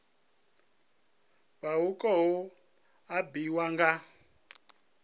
vha hu khou ambiwa nga